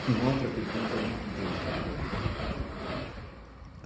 É uma outra pergunta muito interessante isso.